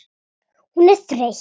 Hún er þreytt.